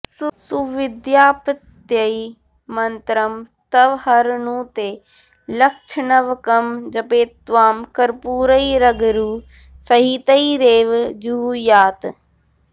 सुविद्याप्त्यै मन्त्रं तव हरनुते लक्षनवकं जपेत्त्वां कर्पूरैरगरु सहितैरेव जुहुयात्